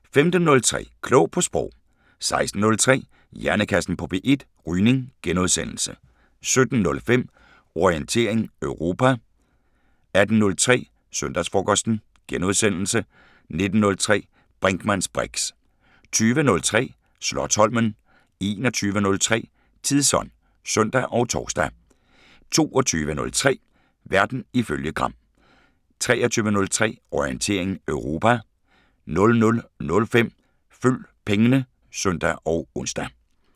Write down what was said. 15:03: Klog på Sprog 16:03: Hjernekassen på P1: Rygning * 17:05: Orientering Europa 18:03: Søndagsfrokosten * 19:03: Brinkmanns briks 20:03: Slotsholmen 21:03: Tidsånd (søn og tor) 22:03: Verden ifølge Gram 23:03: Orientering Europa 00:05: Følg pengene (søn og ons)